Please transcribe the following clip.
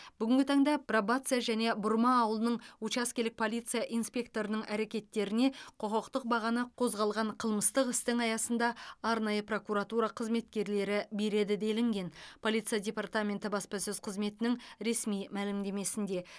бүгінгі таңда пробация және бұрма ауылының учаскелік полиция инспекторының әрекеттеріне құқықтық бағаны қозғалған қылмыстық істің аясында арнайы прокуратура қызметкерлері береді делінген полиция департаменті баспасөз қызметінің ресми мәлімдемесінде